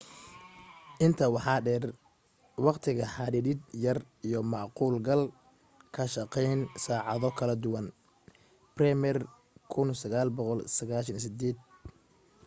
intaa waxaa dheer waqti xadidid yar iyo macquul galka shaqeyn saacado kala duwan. bremer 1998